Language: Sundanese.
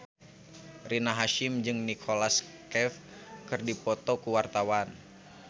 Rina Hasyim jeung Nicholas Cafe keur dipoto ku wartawan